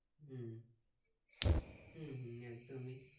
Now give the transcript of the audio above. হম হম হম একদমই